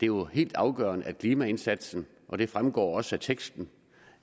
jo helt afgørende at klimaindsatsen og det fremgår også af teksten